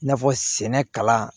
I n'a fɔ sɛnɛ kalan